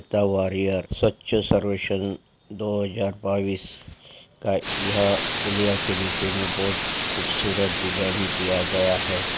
सवछ सर्वेसन दो हजार बाईस का यह पुलिया के नीचे में बहोत खूबसूरत डिज़ाइनिंग किया गया है|